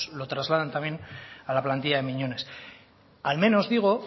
lo trasladan también a la plantilla de miñones al menos digo